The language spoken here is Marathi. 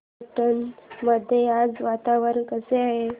देवठाण मध्ये आज वातावरण कसे आहे